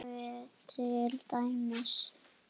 Kaffi til dæmis.